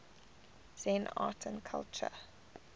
zen art and culture